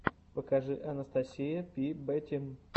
покажи анастасия пи бэтим